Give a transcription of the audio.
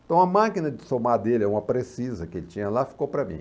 Então, a máquina de somar dele, uma precisa que ele tinha lá, ficou para mim.